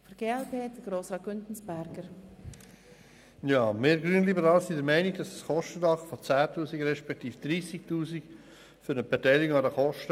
Wir Grünliberalen sind der Meinung, dass ein Kostendach von 10 000 beziehungsweise 30 000 Franken ausreicht.